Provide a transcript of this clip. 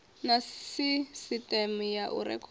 na sisiteme ya u rekhoda